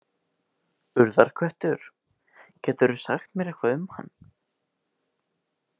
Urðarköttur, geturðu sagt mér eitthvað um hann?